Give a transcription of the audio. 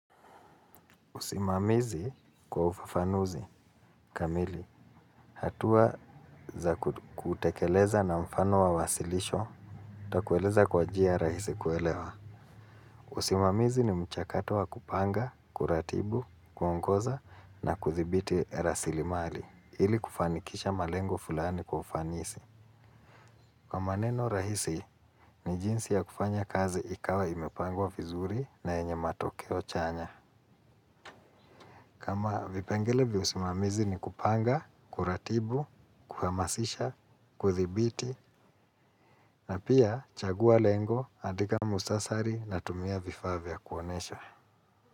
Usimamizi kwa ufafanuzi kamili hatuwa za kutekeleza na mfano wa wasilisho. Nitakueleza kwa njia rahisi kuelewa. Usimamizi ni mchakato wa kupanga, kuratibu, kuongoza na kudhibiti rasilimali ili kufanikisha malengo fulani kwa ufanisi. Kwa maneno rahisi, ni jinsi ya kufanya kazi ikawa imepangwa vizuri na yenye matokeo chanya. Kama vipengele vya usimamizi ni kupanga, kuratibu, kuhamasisha, kudhibiti na pia chagua lengo, andika muhtasari na tumia vifaa vya kuonesha.